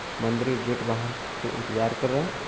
मंदिर के गेट बाहर पे इंतज़ार कर रहा है।